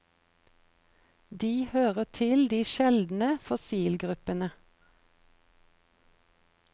De hører til de sjeldne fossilgruppene.